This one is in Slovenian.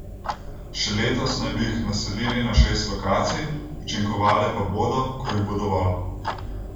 Še letos naj bi jih naselili na šest lokacij, učinkovale pa bodo, ko jih bo dovolj.